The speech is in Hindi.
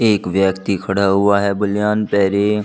एक व्यक्ति खड़ा हुआ है बनियान पहरे--